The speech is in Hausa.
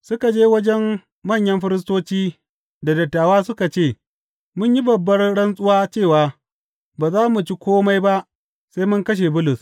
Suka je wajen manyan firistoci da dattawa suka ce, Mun yi babbar rantsuwa cewa ba za mu ci kome ba sai mun kashe Bulus.